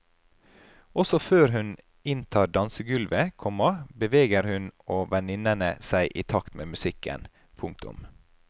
Også før hun inntar dansegulvet, komma beveger hun og venninnene seg i takt med musikken. punktum